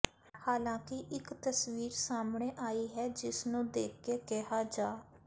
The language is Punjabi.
ਹਾਲਾਂਕਿ ਇੱਕ ਤਸਵੀਰ ਸਾਹਮਣੇ ਆਈ ਹੈ ਜਿਸ ਨੂੰ ਦੇਖ ਕੇ ਕਿਹਾ ਜਾ